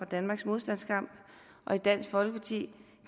danmarks modstandskamp og i dansk folkeparti